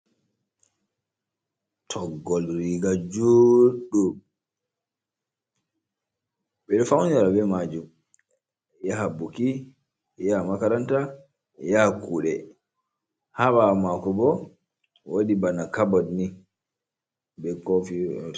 Toggol riga juuɗɗum. Ɓeɗo faunira ɓe majum, yaha ɓuki, ya makaranta, ya kuɗe. Ha ɓawo maku ɓo waɗi ɓana kaɓot ni be kofi.